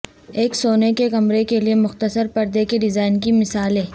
ایک سونے کے کمرے کے لئے مختصر پردے کے ڈیزائن کی مثالیں